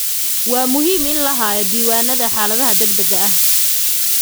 Waa muhiim in la hayo diiwaannada xaaladaha degdegga ah.